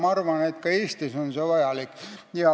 Ma arvan, et ka Eestis oleks see vajalik.